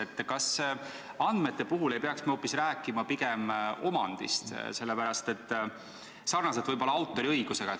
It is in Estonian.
Aga kas andmete puhul ei peaks me hoopis rääkima pigem omandist nagu autoriõiguse puhul?